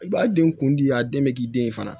I b'a den kun di a den bɛ k'i den ye fana